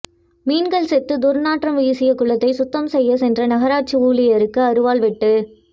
மீன்கள் செத்து துர்நாற்றம் வீசிய குளத்தை சுத்தம் செய்யச் சென்ற நகராட்சி ஊழியர்களுக்கு அருவாள் வெட்டு